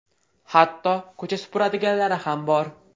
Hatto ko‘cha supuradiganlari ham bor.